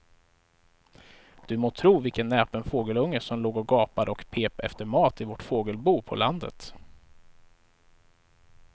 Du må tro vilken näpen fågelunge som låg och gapade och pep efter mat i vårt fågelbo på landet.